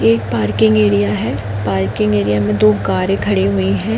यह एक parking area है पार्किंग एरिया में दो कारे खड़ी हुई है।